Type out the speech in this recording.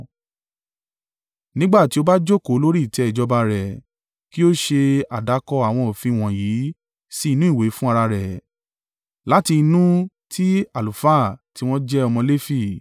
Nígbà tí ó bá jókòó lórí ìtẹ́ ìjọba rẹ̀, kí ó ṣe àdàkọ àwọn òfin wọ̀nyí sí inú ìwé fún ara rẹ̀, láti inú ti àlùfáà tí wọ́n jẹ́ ọmọ Lefi.